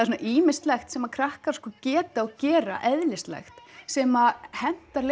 svona ýmislegt sem krakkar sko geta og gera eðlislægt sem hentar